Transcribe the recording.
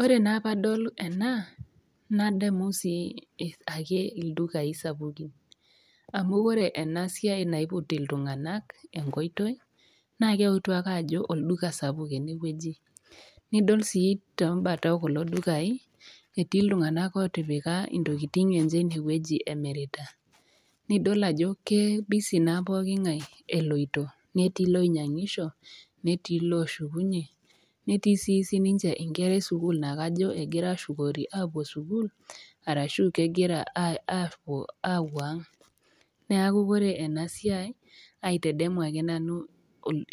Ore naa pee adol ena, nadamu sii ake ildukain sapukin, amu ore ena Siai naiput iltung'ana enkoitoi, naa keutu ake ajo olduka sapuk ene wueji, nidol sii too imbat oo kulo dukai etii iltung'ana otipika intokitin enye ine wueji emiritai. Nidol ajo keebisi naa pookingai eloito, netii ilonyangisho, netii ilooshukunye, netii sii sininye inkera e sukuul naa kajo egira aashukoori apuo sukuul ashu kajo kegira aapuo aang'. Neaku ore ena siai aitedemu ake nanu